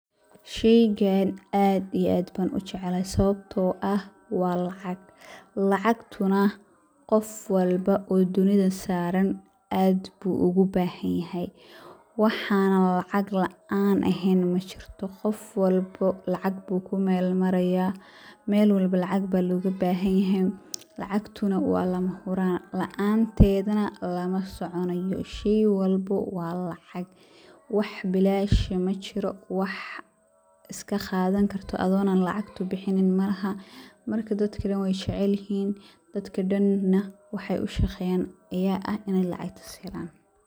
Sheygan aad iyo aad baan ujeclahay sababto ah waa lacag, lacagtuna qof walbo oo dunidaan saaran aad buu ugu bahan yahay, waxaanan lacag laan eheen majirto, qof walbo lacag buu ku meel maraaya, meel walbo lacag baa looga bahan yahay, lacagtuna waa lama huraan, laanteeda lama soconayo, sheey walbo na waa lacag wax bilaash ah majiro, wax iska qaadan karto adhigo lacag bixinin malaha, marka dadka dan waay jecel yihiin dadka dan na waxaay ushaqeyaan ayaa ah in lacagtaas aay helaan.